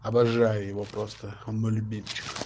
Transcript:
обожаю его просто он мой любимчик